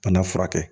Bana furakɛ